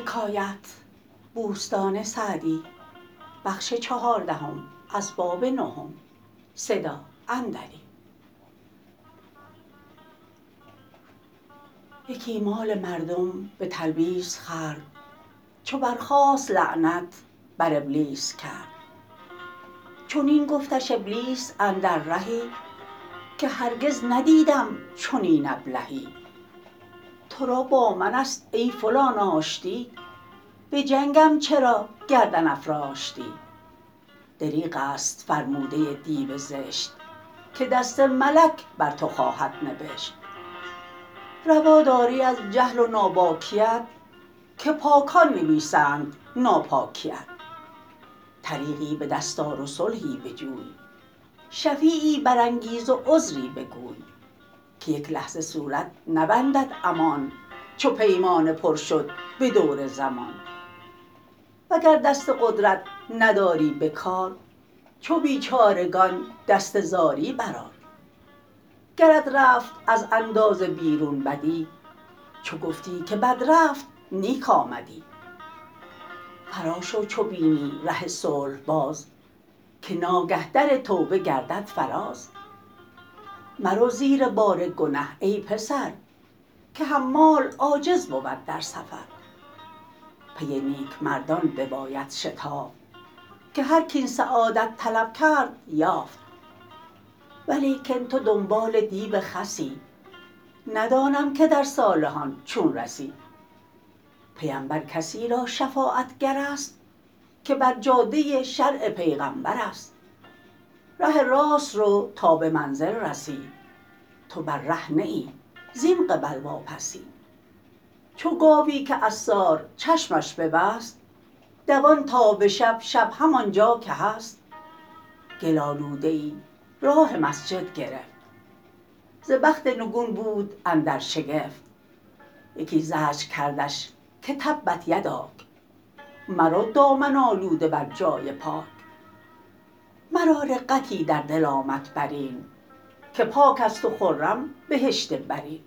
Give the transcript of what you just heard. یکی مال مردم به تلبیس خورد چو برخاست لعنت بر ابلیس کرد چنین گفتش ابلیس اندر رهی که هرگز ندیدم چنین ابلهی تو را با من است ای فلان آشتی به جنگم چرا گردن افراشتی دریغ است فرموده دیو زشت که دست ملک بر تو خواهد نبشت روا داری از جهل و ناباکیت که پاکان نویسند ناپاکیت طریقی به دست آر و صلحی بجوی شفیعی برانگیز و عذری بگوی که یک لحظه صورت نبندد امان چو پیمانه پر شد به دور زمان وگر دست قدرت نداری به کار چو بیچارگان دست زاری بر آر گرت رفت از اندازه بیرون بدی چو گفتی که بد رفت نیک آمدی فرا شو چو بینی ره صلح باز که ناگه در توبه گردد فراز مرو زیر بار گنه ای پسر که حمال عاجز بود در سفر پی نیک مردان بباید شتافت که هر کاین سعادت طلب کرد یافت ولیکن تو دنبال دیو خسی ندانم که در صالحان چون رسی پیمبر کسی را شفاعتگر است که بر جاده شرع پیغمبر است ره راست رو تا به منزل رسی تو بر ره نه ای زین قبل واپسی چو گاوی که عصار چشمش ببست دوان تا به شب شب همانجا که هست گل آلوده ای راه مسجد گرفت ز بخت نگون بود اندر شگفت یکی زجر کردش که تبت یداک مرو دامن آلوده بر جای پاک مرا رقتی در دل آمد بر این که پاک است و خرم بهشت برین